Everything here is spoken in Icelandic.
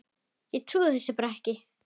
Ég trúði þessu bara ekki.